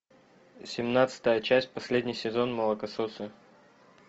семнадцатая часть последний сезон молокососы